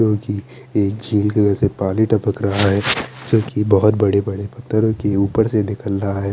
जो की एक झील के अंदर से पानी टपक रहा है जोकि बहोत बड़े बड़े पथरो की उपर से निकल रहा है।